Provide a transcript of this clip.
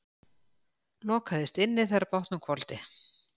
Lokaðist inni þegar bátnum hvolfdi